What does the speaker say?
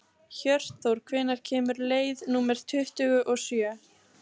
Hjörtþór, hvenær kemur leið númer tuttugu og sjö?